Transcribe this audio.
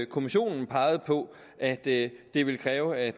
kommissionen pegede på at det det ville kræve at